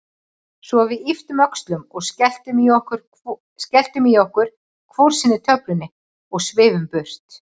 Svo við ypptum öxlum og skelltum í okkur hvor sinni töflunni og svifum burt.